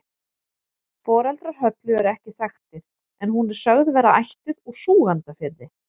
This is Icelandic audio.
Foreldrar Höllu eru ekki þekktir en hún er sögð vera ættuð úr Súgandafirði.